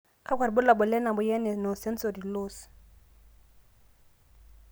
kakua irbulabol le moyian e no sensory loss.